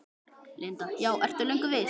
Linda: Já, ertu löngu viss?